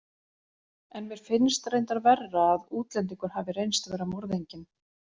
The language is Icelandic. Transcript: En mér finnst reyndar verra að útlendingur hafi reynst vera morðinginn.